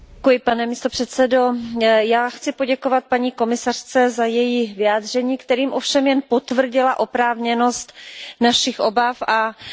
Já chci poděkovat paní komisařce za její vyjádření, kterým ovšem jen potvrdila oprávněnost našich obav a naši iniciativu.